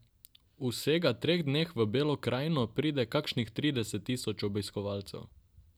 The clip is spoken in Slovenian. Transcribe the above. V vsega treh dneh v Belo krajino pride kakšnih trideset tisoč obiskovalcev.